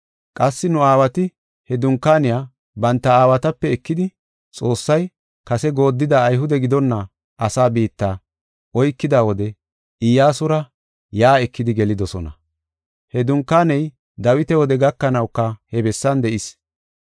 Qassi nu aawati he dunkaaniya banta aawatape ekidi Xoossay kase goodida Ayhude gidonna asaa biitta oykida wode Iyyasura yaa ekidi gelidosona. He dunkaaney Dawita wode gakanawuka he bessan de7is.